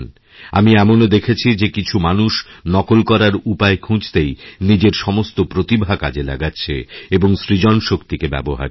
আমি এমনওদেখেছি যে কিছু মানুষ নকল করার উপায় খুঁজতেই নিজের সমস্ত প্রতিভা কাজে লাগাচ্ছেএবং সৃজনশক্তিকে ব্যবহার করছে